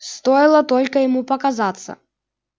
стоило только ему показаться